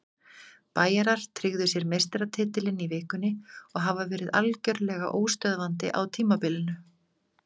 Bæjarar tryggðu sér meistaratitilinn í vikunni og hafa verið algjörlega óstöðvandi á tímabilinu.